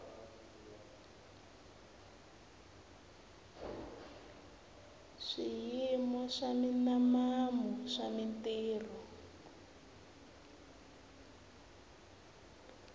swiyimo swa minimamu swa mintirho